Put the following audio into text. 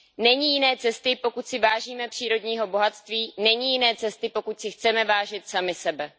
Není jiné cesty, pokud si vážíme přírodního bohatství, není jiné cesty, pokud si chceme vážit sami sebe.